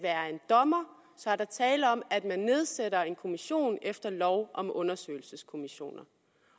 dommer så er der tale om at man nedsætter en kommission efter lov om undersøgelseskommissioner